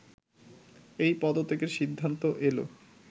এই পদত্যাগের সিদ্ধান্ত এল